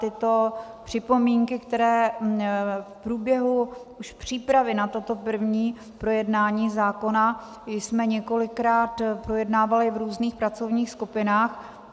Tyto připomínky, které v průběhu už přípravy na toto první projednání zákona jsme několikrát projednávali v různých pracovních skupinách.